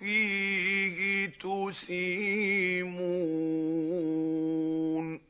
فِيهِ تُسِيمُونَ